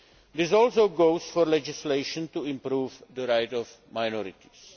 This also goes for legislation to improve the rights of minorities.